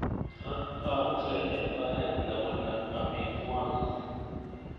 Ak aaksei eng oret ne bunee amitwakiki.